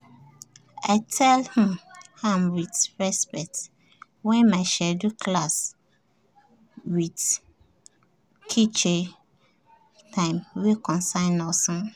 um we dey um balance cleaning um duties while we dey respect people mess patience and dia character